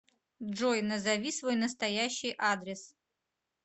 джой назови свой настоящий адрес